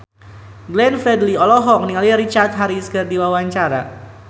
Glenn Fredly olohok ningali Richard Harris keur diwawancara